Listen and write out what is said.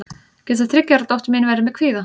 getur þriggja ára dóttir mín verið með kvíða